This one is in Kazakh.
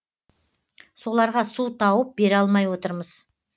соларға су тауып бере алмай отырмыз